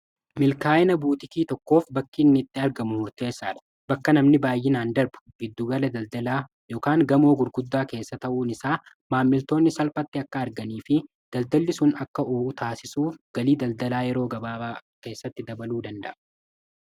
milkaa'ina buuxikii tokkoof bakkiinnitti argamu hurteessaal bakka namni baay'inaan darbu biddugala daldalaa gamoo gurguddaa keessa ta'uun isaa maammiltoonni salphatti akka arganii fi daldalli sun akka o'uu taasisuu galii daldalaa yeroo gabaabaa keessatti dabaluu danda'a